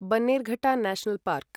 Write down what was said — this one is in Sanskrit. Bannerghatta national park